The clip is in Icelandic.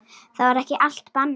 Þá var ekki allt bannað.